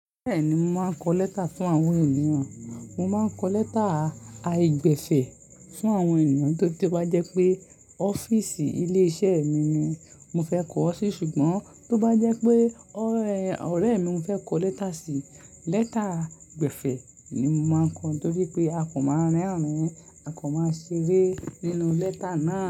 Bẹ́ẹ̀ni, mo máa ń kọ lẹ́tà fún àwọn ènìyàn. Mo má ń kọ lẹ́tà àìgbẹ̀fẹ̀ fún àwọn ènìyàn nítorí tí o bá jẹ́ pé ọ́fíìsì ilé iṣẹ́ mi ni mo fẹ́ kọ ọ́ sí ṣùgbọ́n tó bá jẹ́ pé ọ̀rẹ́ mi mo fẹ́ kọ lẹ́tà si, lẹ́tà gbẹ̀fẹ̀ ni mo máa ń kọ nítorí pé akàn máa rẹ́rìn-ín, akàn máa ṣeré nínú lẹ́tà náà.